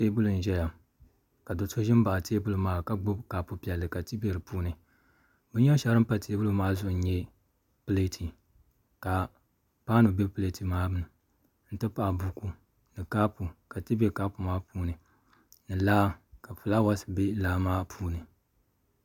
Teebuli n ʒɛya ka do so ʒi n baɣa teebuli maa ka gbubi kapu piɛlli ka ti bɛ di puuni binyɛri shɛŋa din pa teebuli maa zuɣu n nyɛ pileeti ka paanu bɛ pileeti maa ni n ti pahi buku ni kaapu ka ti bɛ kaapu maa puuni ni laa ka fulaawaasi bɛ laa maa puuni